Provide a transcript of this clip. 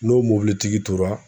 N'o mobilitigi tora.